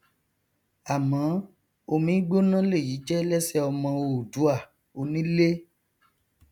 àmọ omigbóná lèyí jẹ lẹsẹ ọmọ oòduà onílé